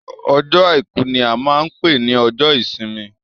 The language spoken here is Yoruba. Ọjọ́ àìkú ní a máa n pé ní ọjọ́ ìsinmi.